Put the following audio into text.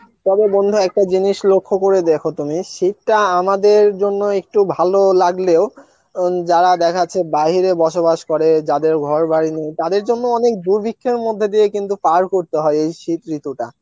তবে বন্ধু একটা জিনিস লক্ষ্য করে দেখো তুমি শিক্ষা আমাদের জন্য একটু ভালো লাগলেও উন যারা দেখা যাচ্ছে বাইরে বসবাস করে যাদের ঘর বাড়ি নেই তাদের জন্য অনেক দুর্ভিক্ষের মধ্যে দিয়ে কিন্তু পার করতে হয় এই শীত ঋতুটা